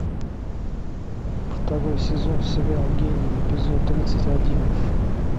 второй сезон сериал гений эпизод тридцать один